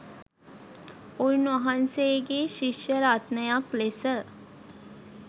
උන්වහන්සේගේ ශිෂ්‍ය රත්නයක් ලෙස